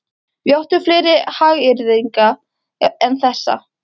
Við áttum fleiri hagyrðinga en þessa.